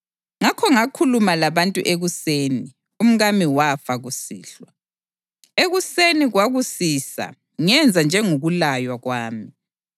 Ngakho ngakhuluma labantu ekuseni, umkami wafa kusihlwa. Ekuseni kwakusisa ngenza njengokulaywa kwami.